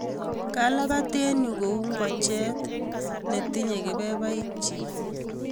kalabat eng Yu ko uu ngochet be tinye kebebaik chi